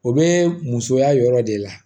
O be musoya yɔrɔ de la